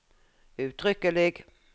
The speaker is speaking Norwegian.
uttrykkelig